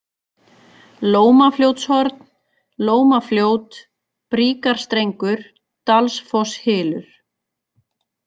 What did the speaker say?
Lómafljótshorn, Lómafljót, Bríkarstrengur, Dalsfosshylur